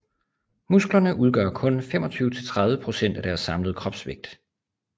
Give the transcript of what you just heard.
Musklerne udgør kun 25 til 30 procent af deres samlede kropsvægt